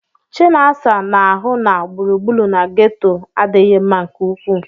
Chinaza na-ahụ na gburugburu na ghetto adịghị mma nke ukwuu.